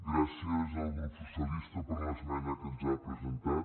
gràcies al grup socialista per l’esmena que ens ha presentat